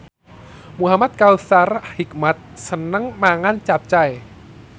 Muhamad Kautsar Hikmat seneng mangan capcay